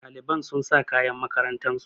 Ɗaliban sun sa kayan makarantar su